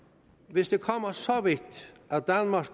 hvis det kommer så vidt at danmark